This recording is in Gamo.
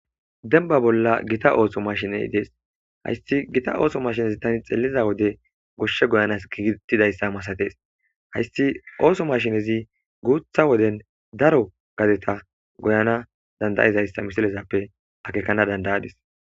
denba bolla gita ooso mashiney dees hayssi gita ooso mashinezi tani xeeliza wode goshshe goyanas giigittidayssa masatees hayssi ooso mashinezi guutha woden daro gadeta goyana dandayizayssa misilezappe akekana dandayadis